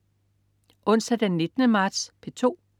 Onsdag den 19. marts - P2: